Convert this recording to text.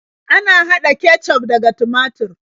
Ana haɗa kecuf daga tumatur.